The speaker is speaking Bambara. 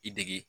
I dege